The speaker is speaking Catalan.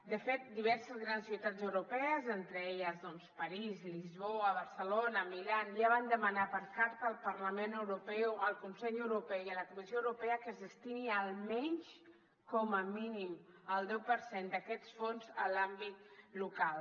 de fet diverses grans ciutats europees entre elles doncs parís lisboa barcelona milà ja van demanar per carta al parlament europeu al consell europeu i a la comissió europea que es destini almenys com a mínim el deu per cent d’aquests fons a l’àmbit local